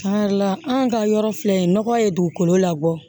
an ka yɔrɔ filɛ nɔgɔ ye dugukolo labɔ